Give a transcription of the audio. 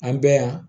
An bɛ yan